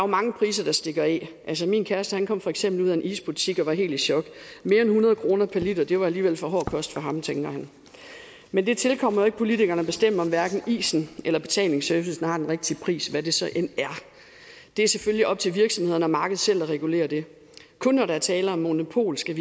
mange priser der stikker af altså min kæreste kom for eksempel ud af en isbutik og var helt i chok mere end hundrede kroner per liter var alligevel for hård kost for ham tænkte han men det tilkommer jo ikke politikerne at bestemme om hverken isen eller betalingsservicen har den rigtige pris hvad det så end er det er selvfølgelig op til virksomhederne og markedet selv at regulere det kun når der er tale om monopol skal